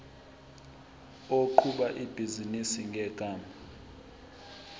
oqhuba ibhizinisi ngegama